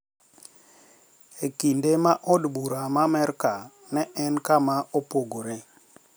E kinde ma od bura ma Amerka ne en kama opogore